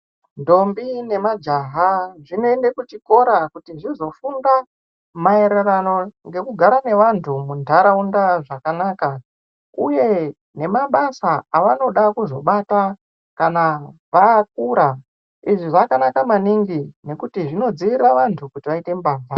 Ntombi nemajaha zvinoende kuchikora kuti zvizofunda maererano ngekugara vevantu muntaraunda zvakanaka uye nemabasa avanoda kuzobata kana vakura izvi zvakanaka maningi ngekuti zvinodzivirira maningi nekuti zvinodzivirira vantu kuti vaite mbavha.